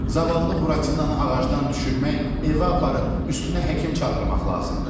Zavallı Buratinanı ağacdan düşürmək, evə aparıb üstünə həkim çağırmaq lazımdır.